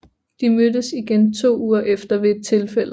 De mødtes igen to uger efter ved et tilfælde